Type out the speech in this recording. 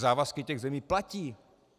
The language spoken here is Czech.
Závazky těch zemí platí.